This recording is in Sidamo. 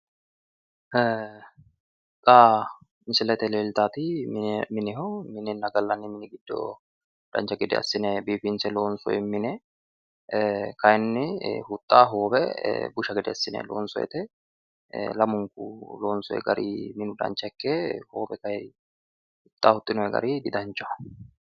Xa misilete leelitanoti minenna gallanni mine dancha hede assine loonse kayinni huxxa hoowe assine huxxinoonni gari didanchaho